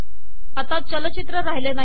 आता चलचित्र राहिले नाही